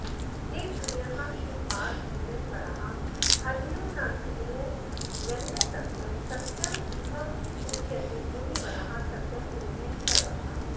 ते धन्याः शिवपादपूजनपराः ह्यन्यो न धन्यो जनः सत्यं सत्यमिहोच्यते मुनिवराः सत्यं पुनः सर्वथा